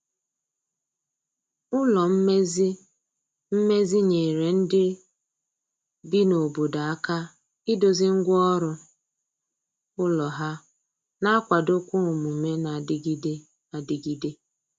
ụlọ mmezi mmezi nyere ndi bi na obodo aka ịdozi ngwa ọrụ ụlọ ha na akwado kwa omume na adigide adigide